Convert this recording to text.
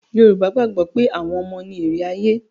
Yorùbá gbàgbọ́ pé àwọn ọmọ ni èrè ayé.